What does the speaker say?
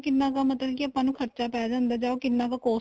ਕਿੰਨਾ ਕ ਮਤਲਬ ਕੀ ਖਰਚਾ ਪੈ ਜਾਂਦਾ ਏ ਜਾਂ ਉਹ ਕਿੰਨਾ ਕ costly